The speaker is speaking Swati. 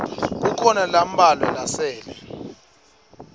kukhona lambalwa lasele